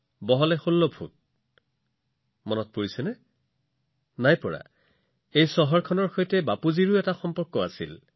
ধৰিব পৰা নাই যদি মই আপোনালোকক আন এটা কথা কওঁ যি খন চহৰত ই অৱস্থিত সেই চহৰখনৰ বাপুৰ সৈতে এক বিশেষ সম্পৰ্ক আছে